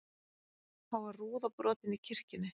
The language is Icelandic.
Þá var rúða brotin í kirkjunni